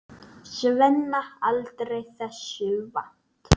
Svenna, aldrei þessu vant.